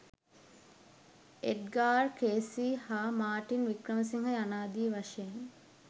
Edgar Cayce හා මාර්ටින් වික්‍රමසිංහ යනාදී වශයෙන්